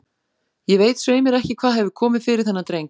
Ég veit svei mér ekki hvað hefur komið fyrir þennan dreng.